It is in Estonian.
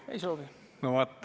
Ei soovi.